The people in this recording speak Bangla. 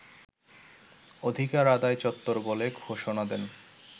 অধিকার আদায় চত্বর বলে ঘোষণাদেন